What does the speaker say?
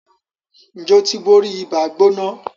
Njé o tí bóri Ibàá-gbóná?